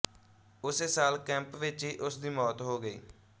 ਉਸੇ ਸਾਲ ਕੈਂਪ ਵਿੱਚ ਹੀ ਉਸ ਦੀ ਮੌਤ ਹੋ ਗਈ